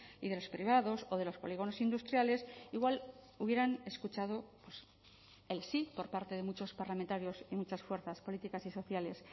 y de los privados o de los polígonos industriales igual hubieran escuchado el sí por parte de muchos parlamentarios y muchas fuerzas políticas y sociales